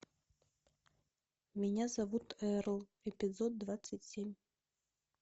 меня зовут эрл эпизод двадцать семь